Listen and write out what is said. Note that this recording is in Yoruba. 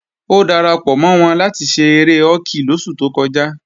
Ó darapọ̀ mọ́ wọn láti ṣe eré họ́kì lóṣù tó kọjá